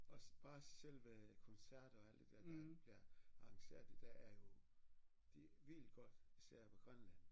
Også også selve koncerter og alt det der der bliver arrangeret i dag er jo det er vildt godt især på Grønland